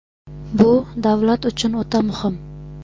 Bu — davlat uchun o‘ta muhim.